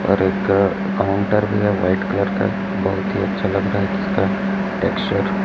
और एक काउंटर भी है व्हाइट कलर का बहुत ही अच्छा लग रहा है इसका टेक्सचर --